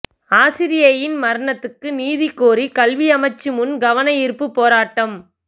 ஆசிரியையின் மரணத்துக்கு நீதி கோரி கல்வி அமைச்சு முன் கவனயீர்ப்புப் போராட்டம்